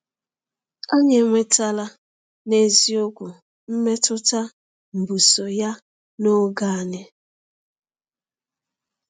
Anyị enwetala n’eziokwu mmetụta mbuso ya n’oge anyị.